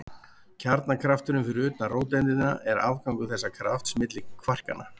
Kjarnakrafturinn fyrir utan róteindina er afgangur þessa krafts milli kvarkanna.